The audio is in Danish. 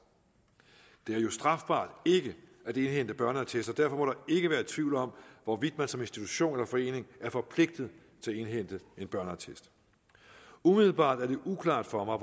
det er jo strafbart ikke at indhente børneattester og derfor må der ikke være tvivl om hvorvidt man som institution eller forening er forpligtet til at indhente en børneattest umiddelbart er det uklart for mig